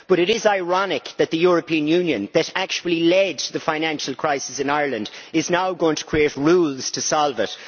But it is ironic that the European Union, that actually led to the financial crisis in Ireland, is now going to create rules to solve it.